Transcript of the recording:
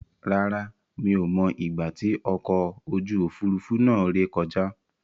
Rárá, mi ò mọ ìgbà tí ọkọ̀ ojú Òfurufú náà rè kọjá.